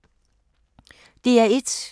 DR1